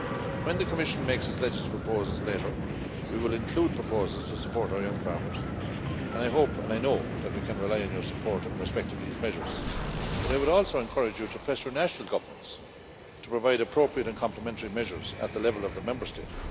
When the Commission makes its legislative proposals later, we will include proposals to support our young farmers and I hope and I know that we can rely on your support in respect of these measures, but I would also encourage you to press your national governments to provide appropriate and complementary measures at the level of the Member State.